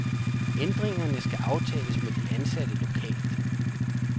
Ændringerne skal aftales med de ansatte lokalt.